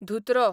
धुत्रो